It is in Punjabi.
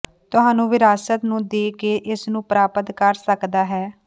ਤੁਹਾਨੂੰ ਵਿਰਾਸਤ ਨੂੰ ਦੇ ਕੇ ਇਸ ਨੂੰ ਪ੍ਰਾਪਤ ਕਰ ਸਕਦਾ ਹੈ